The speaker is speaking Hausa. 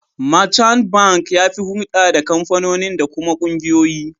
Merchant Bank ya fi hurɗa da kamfanoni da kuma ƙungiyoyi.